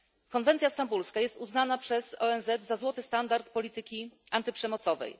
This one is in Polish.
Konwencja stambulska jest uznana przez ONZ za złoty standard polityki antyprzemocowej.